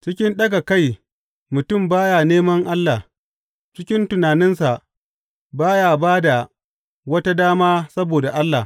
Cikin ɗaga kai mutum ba ya neman Allah; cikin tunaninsa ba ya ba da wata dama saboda Allah.